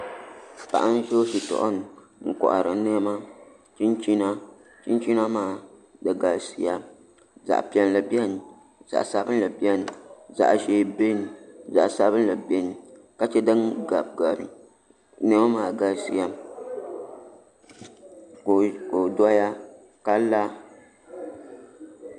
Paɣa n do shitoɣu ni n kohari niɛma chinchina chinchina maa di galisiya zaɣ piɛlli biɛni zaɣ sabinli biɛni zaɣ ʒiɛ biɛni ka chɛ din gabigabi niɛma maa galisiya ka o doya ka la